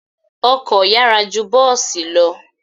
Ọkọ̀ yára ju bọ́ọ̀sì lọ.